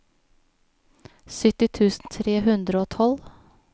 sytti tusen tre hundre og tolv